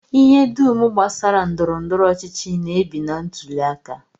Ihe dum gbasara ndọrọndọrọ ọchịchị na-ebi na ntụli aka